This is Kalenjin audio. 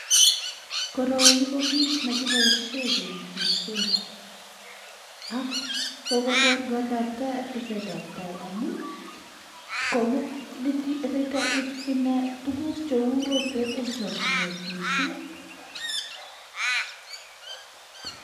koroi kebaishe kelitishe ak kwaeui ki neu rotwet kongatibit